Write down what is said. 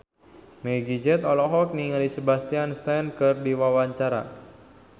Meggie Z olohok ningali Sebastian Stan keur diwawancara